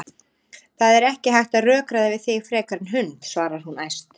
Það er ekki hægt að rökræða við þig frekar en hund, svarar hún æst.